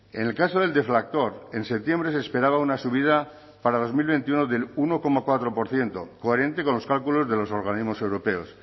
en el caso del deflactor en septiembre se esperaba una subida para dos mil veintiuno del uno coma cuatro por ciento coherente con los cálculos de los organismos europeos